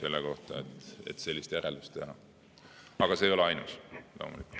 Aga see ei ole ainus loomulikult.